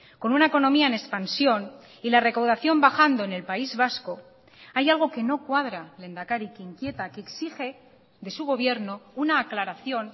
con una economía en expansión y la recaudación bajando en el país vasco hay algo que no cuadra lehendakari que inquieta que exige de su gobierno una aclaración